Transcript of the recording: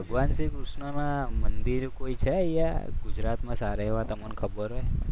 માનસી કૃષ્ણના મંદિર છે કોઈ અહીંયા ગુજરાતમાં સારા એવા તમને ખબર હોય